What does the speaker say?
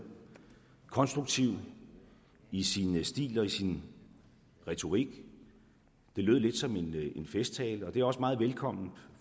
konstruktiv i sin stil og i sin retorik den lød lidt som en festtale og det er også meget velkommen